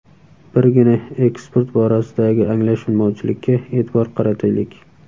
Birgina eksport borasidagi anglashilmovchilikka e’tibor qarataylik.